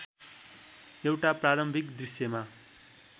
एउटा प्रारम्भिक दृश्यमा